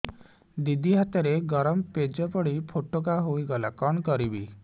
ଦିଦି ହାତରେ ଗରମ ପେଜ ପଡି ଫୋଟକା ହୋଇଗଲା କଣ କରିବି